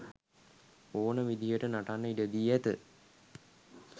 ඕන විදිහට නටන්න ඉඩදී ඇත.